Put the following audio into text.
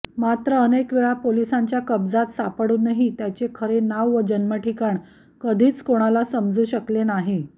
मात्र अनेकवेळा पोलिसांच्या कब्जात सापडूनही त्याचे खरे नांव व जन्मठिकाण कधीच कोणाला समजू शकले नाही